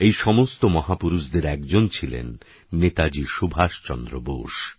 এই সমস্ত মহাপুরুষদের একজন ছিলেন নেতাজী সুভাষচন্দ্র বোস